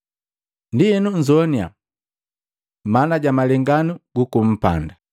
“Ndienu nnzoannya, maana ja malenganu guku mpanda.